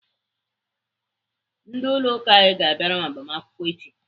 Ndị ụlọ ụka anyị ga-abịara m agbamakwụkwọ echi.